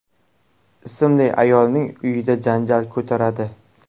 ismli ayolning uyida janjal ko‘taradi.